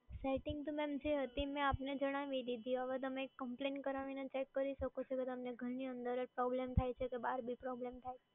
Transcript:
Setting તો madam જે હતી મેં આપને જણાવી દીધી, હવે તમે કમ્પ્લેન કરાવીને ચેક કરી શકે છો કે તમને ઘરની અંદર જ પ્રોબ્લેમ થાય છે કે બહાર બી પ્રોબ્લેમ થાય છે.